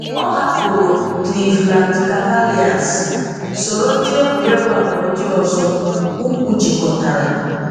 Ọ̀ hapụrụ Cleveland Cavaliers, soro ndị egwuregwu abụọ ndị ọzọ ukwu jikọtara.